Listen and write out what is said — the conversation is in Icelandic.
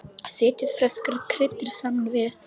Setjið ferska kryddið saman við.